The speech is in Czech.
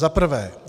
Za prvé.